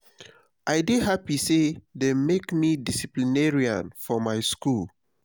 i dey happy say dey make me disciplinarian for my school